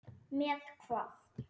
Með hvað?